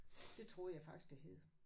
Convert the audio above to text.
Det troede jeg faktisk det hed